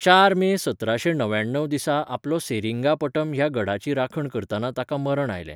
चार मे सतराशें णव्याण्णव दिसा आपलो सेरिंगापटम ह्या गढाची राखण करतना ताका मरण आयलें.